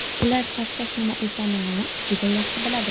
Ular charchash nima ekanini juda yaxshi biladi.